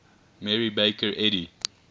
mary baker eddy